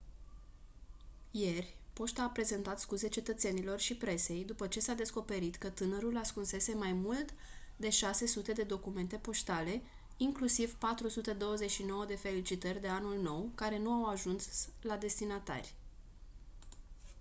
ieri poșta a prezentat scuze cetățenilor și presei după ce s-a descoperit că tânărul ascunsese mai mult de 600 de documente poștale inclusiv 429 de felicitări de anul nou care nu au ajuns la destinatari